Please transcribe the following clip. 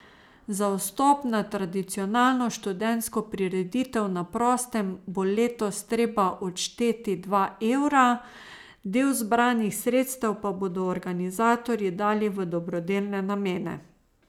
Za vstop na tradicionalno študentsko prireditev na prostem bo letos treba odšteti dva evra, del zbranih sredstev pa bodo organizatorji dali v dobrodelne namene.